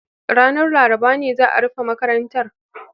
Ranar Laraba ne za a rufe makarantar